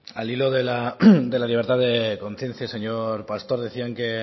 al hilo de la libertad de conciencia señor pastor decían que